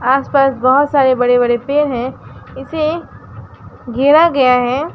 आस पास बहोत सारे बड़े बड़े पेड़ हैं इसे घेरा गया है।